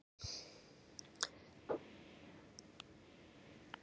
Svanur, hvernig er dagskráin í dag?